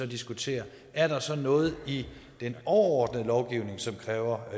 diskuterer er der så noget i den overordnede lovgivning som kræver